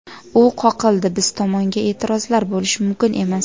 U qoqildi, biz tomonga e’tirozlar bo‘lishi mumkin emas.